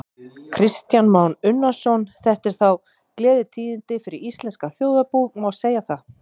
Kristján Már Unnarsson: Þetta eru þá gleðitíðindi fyrir íslenskt þjóðarbú, má segja það?